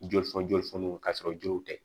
Joli fɔ joli foniw ka sɔrɔ joliw tɛ